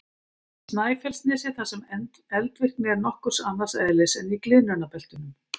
Snæfellsnesi þar sem eldvirkni er nokkuð annars eðlis en í gliðnunarbeltunum.